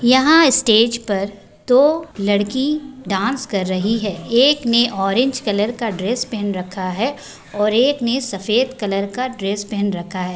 यहाँ स्टेज पर दो लड़की डांस कर रही है| एक ने ऑरेंज कलर का ड्रेस पहन रखा है और एक ने सफेद कलर का ड्रेस पहन रखा है।